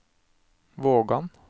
Vågan